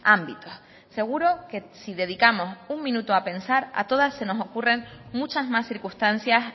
ámbitos seguro que si dedicamos un minuto a pensar a todas se nos ocurren muchas más circunstancias